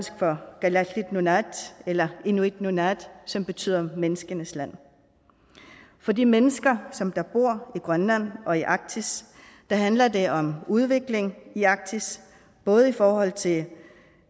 kalaalit nunaat eller inuit nunaat som betyder menneskenes land for de mennesker som bor i grønland og i arktis handler det om udvikling i arktis både i forhold til